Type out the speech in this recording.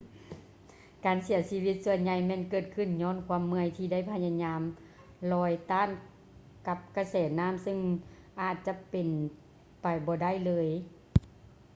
ການເສຍຊີວິດສ່ວນໃຫຍ່ແມ່ນເກີດຂື້ນຍ້ອນຄວາມເມື່ອຍທີ່ໄດ້ພະຍາຍາມລອຍຕ້ານກັບກະແສນ້ຳຊຶ່ງອາດຈະເປັນໄປບໍ່ໄດ້ເລີຍ